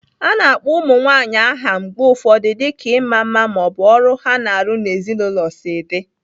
A na-akpọ ụmụ nwanyị aha mgbe ụfọdụ dịka ịma mma ma ọ bụ ọrụ ha na-arụ n'ezinụlọ si dị.